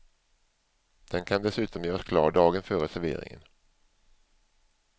Den kan dessutom göras klar dagen före serveringen.